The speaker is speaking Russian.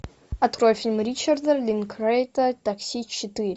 открой фильм ричарда линклейтера такси четыре